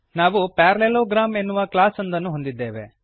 ನಾವು ಪ್ಯಾರಲೆಲೋಗ್ರಾಮ್ ಎನ್ನುವ ಕ್ಲಾಸ್ ಒಂದನ್ನು ಹೊಂದಿದ್ದೇವೆ